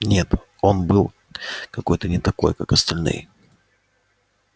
нет он был какой-то не такой как остальные